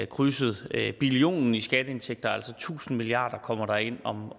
krydset billionen i skatteindtægter altså tusind milliard kroner ind